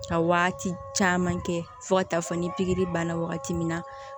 Ka waati caman kɛ fo ka taa fɔ ni pikiri banna wagati min na